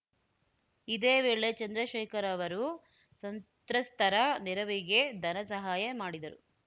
ಇದೇ ವೇಳೆ ಚಂದ್ರಶೇಖರ್‌ ಅವರು ಸಂತ್ರಸ್ತರ ನೆರವಿಗೆ ಧನಸಹಾಯ ಮಾಡಿದರು